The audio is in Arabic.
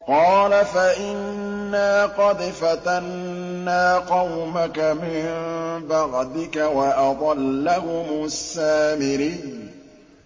قَالَ فَإِنَّا قَدْ فَتَنَّا قَوْمَكَ مِن بَعْدِكَ وَأَضَلَّهُمُ السَّامِرِيُّ